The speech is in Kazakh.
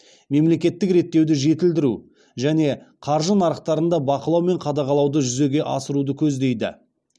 мемлекеттік реттеуді жетілдіру және қаржы нарықтарында бақылау мен қадағалауды жүзеге асыруды көздейді